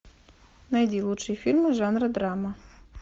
найди лучшие фильмы жанра драма